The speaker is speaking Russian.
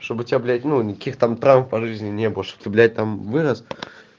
чтобы тебя блять ну никаких там прав по жизни не было что ты блять там вырост